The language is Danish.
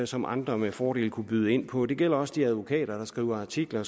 som andre med fordel kunne byde ind på det gælder også de advokater der skriver artikler